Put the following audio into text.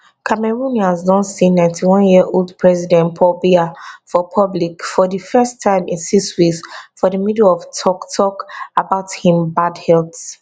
cameroonians don see 91yearold president paul biya for public for di first time in six weeks for di middle of toktok about im bad health